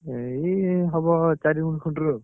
ଏଇ ହବ ଚାରି ଗୁଣ୍ଠ ଆଉ।